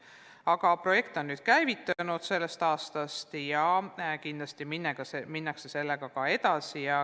Aga projekt käivitus sellel aastal ja kindlasti minnakse sellega edasi.